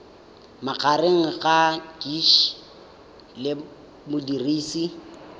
magareng ga gcis le modirisi